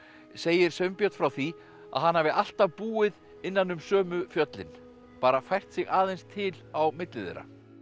segir Sveinbjörn frá því að hann hafi alltaf búið innan um sömu fjöllin bara fært sig aðeins til á milli þeirra